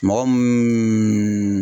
Mɔgɔ mun